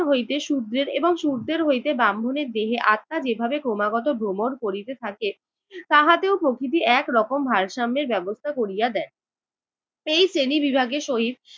হইতে শুদ্রের এবং শুদের হইতে ব্রাহ্মণের দেহে আত্মা যেভাবে ক্রমাগত ভ্রমণ করিতে থাকে, তাহাতেও প্রকৃতি একরকম ভারসাম্যের ব্যবস্থা করিয়া দেয়। এই শ্রেণীবিভাগের সহিত